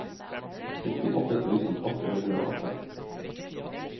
syttiåtte tusen åtte hundre og åtte